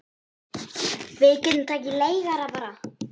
Við getum tekið leigara bara.